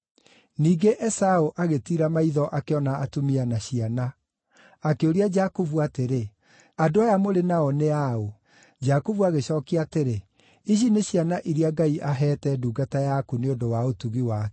Ningĩ Esaũ agĩtiira maitho akĩona atumia na ciana. Akĩũria Jakubu atĩrĩ, “Andũ aya mũrĩ nao nĩ a ũ?” Jakubu agĩcookia atĩrĩ, “Ici nĩ ciana iria Ngai aheete ndungata yaku nĩ ũndũ wa ũtugi wake.”